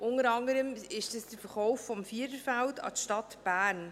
Unter anderem ist dies der Verkauf des Viererfelds an die Stadt Bern.